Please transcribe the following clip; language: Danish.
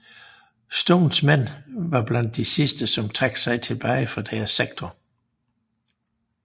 Stones mænd var blandt de sidste som trak sig tilbage fra deres sektor